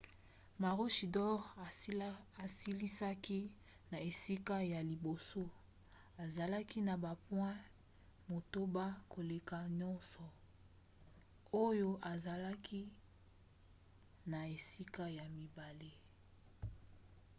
maroochydore asilisaki na esika ya liboso azalaki na bapoint motoba koleka noosa oyo azalaki na esika ya mibale